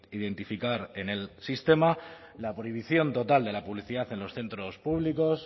identificar en el sistema la prohibición total de la publicidad en los centros públicos